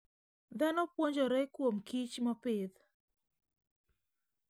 Dhano puonjore kuomkich mopidh.